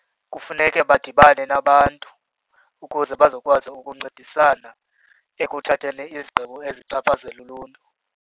Kufuneke badibane nabantu ukuze bazokwazi ukuncedisana ekuthatheni izigqibo ezichaphazela uluntu.